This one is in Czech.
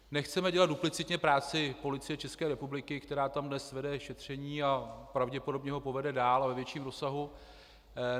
Nechceme dělat duplicitně práci Policie České republiky, která tam dnes vede šetření a pravděpodobně ho povede dál a ve větším rozsahu.